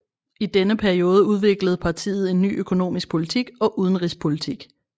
I denne periode udviklede partiet en ny økonomisk politik og udenrigspolitik